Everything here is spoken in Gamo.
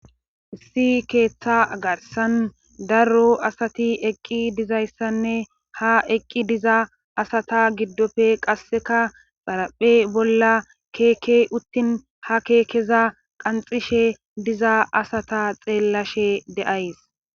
issi keeththa garsan daro asati eqqi dizayssanne ha eqqi diza asata giddofe qasseka xaraphe bolla keeke uttin ha keekeza qanxishe diza asata xeellashe deays